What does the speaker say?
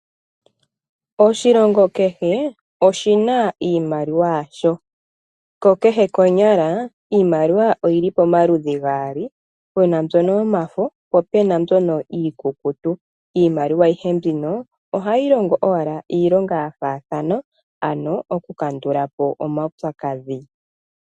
Oshilongo kehe oshina iimaliwa yasho. Ko kehe konyala iimaliwa oyili pamaludhi gaali, pena mbyono yomafo naambyono iikukutu. Iimaliwa ayihe mbino ohayi longo owala iilonga yafaathana ano oku kandulapo omaupyakadhi.